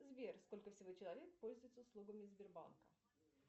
сбер сколько всего человек пользуется услугами сбербанка